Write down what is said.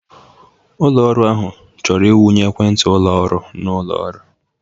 Ụlọ ọrụ ahụ chọrọ ịwụnye ekwentị ụlọ ọrụ na ụlọ ọrụ.